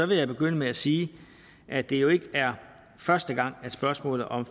jeg begynde med at sige at det jo ikke er første gang at spørgsmålet om